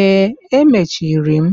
Ee, emechiri m